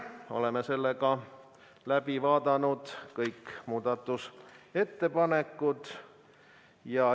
Oleme läbi vaadanud kõik muudatusettepanekud.